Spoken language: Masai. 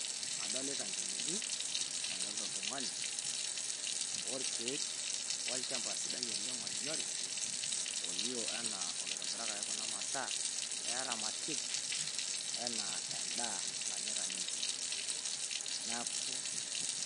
Adolita enkineji nadolita iltung'ani ,olkiek olchamba sidai oleng ony'ori olio anaa olointobirakaki kunaa masaa pee eramatiki enaa endaa nanyaeta ninche, naaku.